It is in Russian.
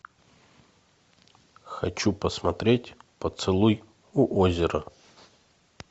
хочу посмотреть поцелуй у озера